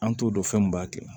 An t'o dɔn fɛn min b'a kɛ